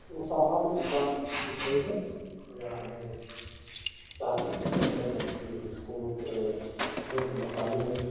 वो सामान की दुकान दिख रही है और यहाँ हमे टॉफी से लेकर नमकीन बिस्कुट अ मिर्च मसाले --